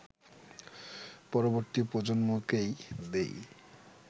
পরবর্তী প্রজন্মকে দিই